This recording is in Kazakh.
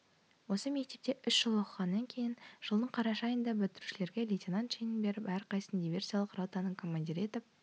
осы мектепте үш жыл оқығаннан кейін жылдың қараша айында бітірушулерге лейтенант шенін беріп әрқайсысын диверсиялық ротаның командирі етіп